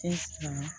Te san